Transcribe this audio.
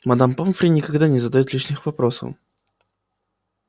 мадам помфри никогда не задаёт лишних вопросов